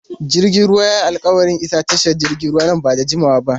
Jirgin ruwan ya yi alƙawarin isa tashar jiragen ruwa nan ba da jimawa ba.